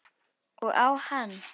Og á hann.